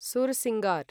sursingar